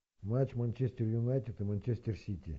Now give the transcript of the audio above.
матч манчестер юнайтед и манчестер сити